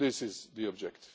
obstacles. This is